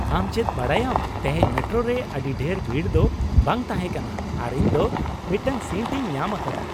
ᱟᱢ ᱪᱮᱫ ᱵᱟᱰᱟᱭᱟᱢ, ᱛᱮᱦᱮᱧ ᱢᱮᱴᱨᱳ ᱨᱮ ᱟᱹᱰᱤ ᱰᱷᱮᱨ ᱵᱷᱤᱲ ᱫᱚ ᱵᱟᱝ ᱛᱟᱦᱮᱸ ᱠᱟᱱᱟ ᱟᱨ ᱤᱧ ᱫᱚ ᱢᱤᱫᱴᱟᱝ ᱥᱤᱴ ᱤᱧ ᱧᱟᱢ ᱟᱠᱟᱫᱟ ᱾